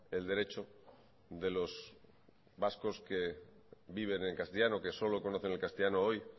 el derecho de los vascos que viven en castellano que solo conocen el castellano hoy